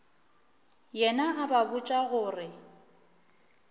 yena a ba botša gore